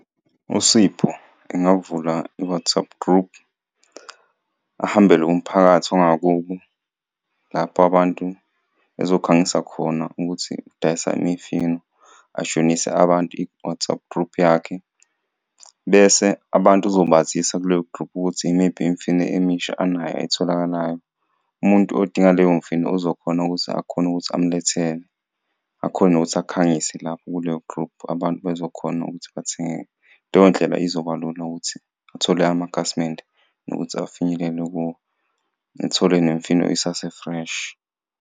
USipho engavula i-WhatsApp group ahambele umphakathi wangakubo lapho abantu ezokhangisa khona ukuthi udayisa imifino, ajoyinise abantu i-WhatsApp group yakhe, bese abantu sizobazisa kuleyo group ukuthi imiphi imifino emisha anayo etholakalayo. Umuntu odinga leyo mfino ozokhona ukuze akhone ukuthi umlethele akhone ngokuthi akhangise lapho kuleyo group abantu bezokhona ukuthi bathenge, leyo ndlela izoba lula ukuthi athole amakhasimende kunokuthi afinyelele kuwo, nithole nemifino isase-fresh.